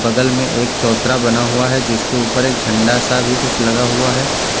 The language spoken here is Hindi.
बगल में एक चबूतरा बना हुआ है जिसके ऊपर एक झंडा सा भी कुछ लगा हुआ है।